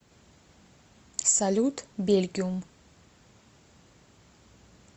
салют бельгиум